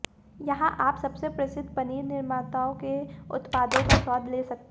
यहाँ आप सबसे प्रसिद्ध पनीर निर्माताओं के उत्पादों का स्वाद ले सकते